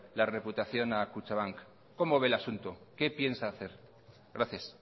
la reputación a kutxabank cómo ve el asunto qué piensa hacer gracias